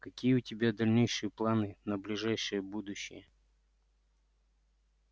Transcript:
какие у тебя дальнейшие планы на ближайшее будущее